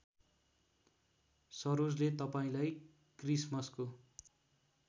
सरोजले तपाईँलाई क्रिसमसको